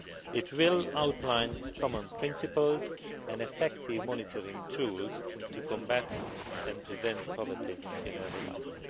It will outline common principles and effective monitoring tools to combat and prevent poverty in early life.